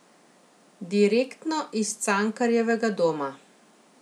Direktno iz Cankarjevega doma.